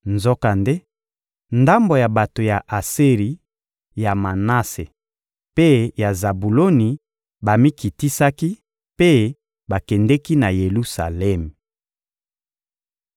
Nzokande, ndambo ya bato ya Aseri, ya Manase mpe ya Zabuloni bamikitisaki mpe bakendeki na Yelusalemi.